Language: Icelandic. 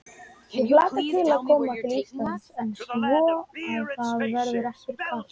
Ég hlakka til að koma til Íslands en vona að það verði ekki kalt.